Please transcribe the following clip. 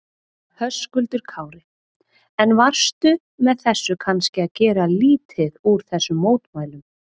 Höskuldur Kári: En varstu með þessu kannski að gera lítið úr þessum mótmælum?